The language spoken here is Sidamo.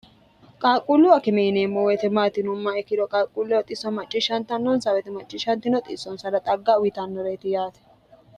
qaaqquullu akimiyineemmo weitemaatinumma ikkiro qaaqquulle oxisso macciishshantannonsa woyete macciishshantino xiissonsana xagga uyitannoreeti yaate